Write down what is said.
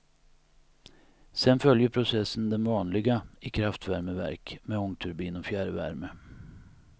Sen följer processen den vanliga i kraftvärmeverk med ångturbin och fjärrvärme.